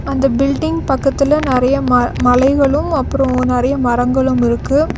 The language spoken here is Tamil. அந்த பில்டிங் பக்கத்துல நறைய ம மலைகளும் அப்றோ நறைய மரங்களும் இருக்கு.